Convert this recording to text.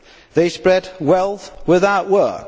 they spread wealth without work.